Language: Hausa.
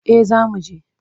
Eh zamu je.